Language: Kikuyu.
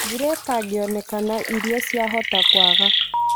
Mbũra ĩtangĩonekana irio ciahota kwaga